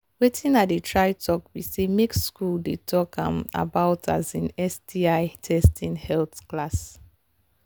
watin i they try talk be say make school they talk um about um sti testing health class